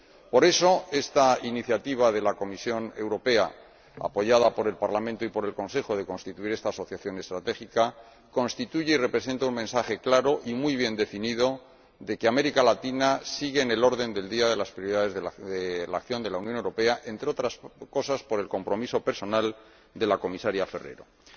Por eso, esta iniciativa de la Comisión Europea, apoyada por el Parlamento y por el Consejo, de constituir esta asociación estratégica constituye y representa un mensaje claro y muy bien definido de que América Latina sigue en el orden del día de las prioridades de la acción de la Unión Europea, entre otras cosas por el compromiso personal de la Comisaria Ferrero Waldner.